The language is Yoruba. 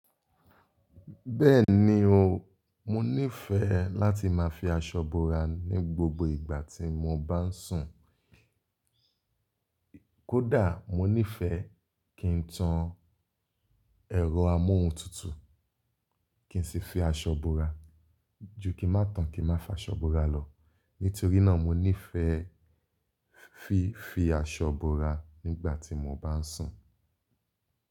Bẹ́ẹ̀ni o, mo nífẹẹ láti máa fi aṣọ bora ní gbogbo ìgbà tí mo bá ń sùn. Kódà mo nífẹẹ kí n tan ẹ̀rọ amóhuntutù kí n sì fi aṣọ bora ju kí ń má tàn kí n má fa aṣọ bora lọ. Nítorí náà mo nífẹẹ fi fi aṣọ búra nígbà tí mo bá ń sùn.